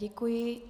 Děkuji.